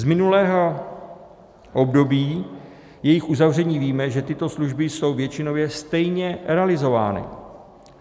Z minulého období jejich uzavření víme, že tyto služby jsou většinově stejně realizovány.